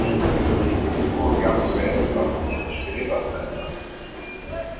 Og jafnvel að hún hefði skrifað þetta.